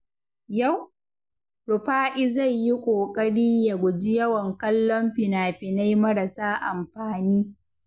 Yau, Rufa’i zai yi ƙoƙari ya guji yawan kallon fina-finai marasa amfani.